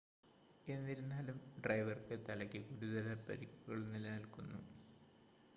എന്നിരുന്നാലും ഡ്രൈവർക്ക് തലയ്ക്ക് ഗുരുതര പരിക്കുകൾ നിലനിൽക്കുന്നു